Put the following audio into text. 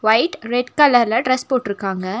Light red கலர்ல dress போட்டுருக்காங்க.